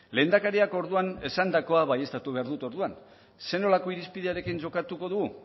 lehendakariak orduan esandakoa baieztatu behar dut orduan zer nolako irizpidearekin jokatuko du